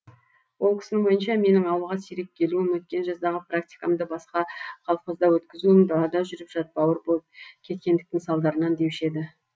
ол кісінің ойынша менің ауылға сирек келуім өткен жаздағы практикамды басқа колхозда өткізуім далада жүріп жатбауыр болып кеткендіктің салдарынан деуші еді